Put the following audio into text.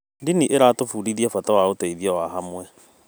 Ndini ĩratũbundithia bata wa ũteithio wa hamwe.